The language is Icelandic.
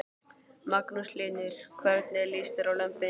Magnús Hlynur: Hvernig líst þér á lömbin?